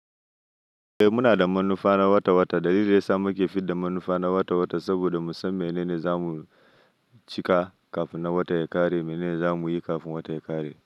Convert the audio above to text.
Eh muna da manufa na wata wata. Dalilin da yasa muke fidda manufa na wata wata saboda mu san menene za mu cika kafin wata ya ƙare, menene za mu yi kafin wata ya ƙare.